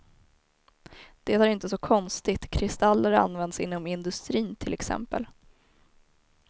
Det är inte så konstigt, kristaller används inom industrin till exempel.